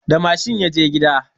Da mashin ya je gida